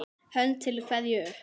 Hönd til kveðju upp!